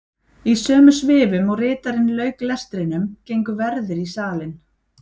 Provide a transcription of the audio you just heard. Í sömu svifum og ritarinn lauk lestrinum gengu verðir í salinn.